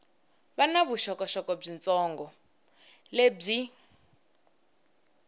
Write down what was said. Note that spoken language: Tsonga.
va na vuxokoxoko byitsongo lebyi